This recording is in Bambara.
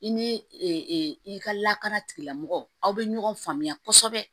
I ni i ka lakana tigilamɔgɔw aw bɛ ɲɔgɔn faamuya kosɛbɛ